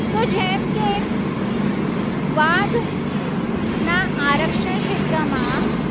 વા ના આરક્ષણ ક્ષેત્રમાં